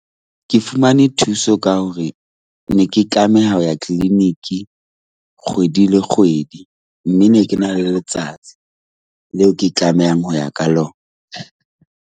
Ke fumane thuso ka hore ne ke tlameha ho ya clinic-i kgwedi le kgwedi mme ne ke na le letsatsi leo ke tlamehang ho ya ka lona .